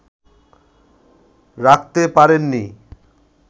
রাখতে পারেন নি